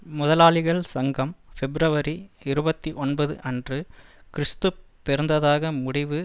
முதலாளிகள் சங்கம் பிப்ரவரி இருபத்தி ஒன்பது அன்று கிறிஸ்து பிறந்ததாக முடிவு